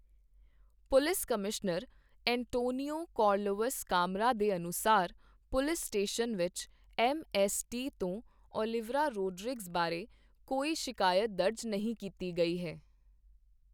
Police ਕਮਿਜ਼ਾਇਰ Antonio Carlos Camara ਦੇ ਅਨੁਸਾਰ, ਪੁਲਿਸ ਸਟੇਸ਼ਨ ਵਿੱਚ ਐੱਮ ਐੱਸ ਟੀ ਤੋਂ ਓਲੀਵੀਰਾ ਰੋਡ੍ਰਿਗਜ਼ ਬਾਰੇ ਕੋਈ ਸ਼ਿਕਾਇਤ ਦਰਜ ਨਹੀਂ ਕੀਤੀ ਗਈ ਹੈ।